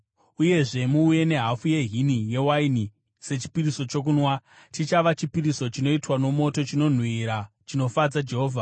Uyezve muuye nehafu yehini yewaini sechipiriso chokunwa. Chichava chipiriso chinoitwa nomoto, chinonhuhwira chinofadza Jehovha.